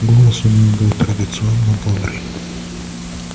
голос у него был традиционно бодрый